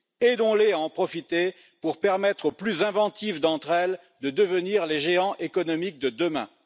Aidons les à en profiter pour permettre aux plus inventives d'entre elles de devenir les géants économiques de demain.